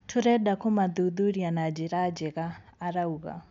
Tũrenda kũmathuthuria na njira njega," arauga.